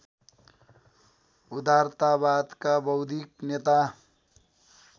उदारतावादका बौद्धिक नेता